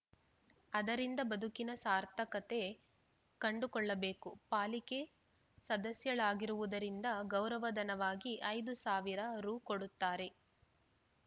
ಅದರಿಂದ ಬದುಕಿನ ಸಾರ್ಥಕತೆ ಕಂಡುಕೊಳ್ಳಬೇಕು ಪಾಲಿಕೆ ಸದಸ್ಯಳಾಗಿರುವುದರಿಂದ ಗೌರವಧನವಾಗಿ ಐದು ಸಾವಿರ ರು ಕೊಡುತ್ತಾರೆ